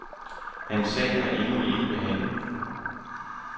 Hans sag er endnu ikke behandlet.